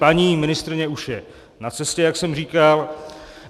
Paní ministryně už je na cestě, jak jsem říkal.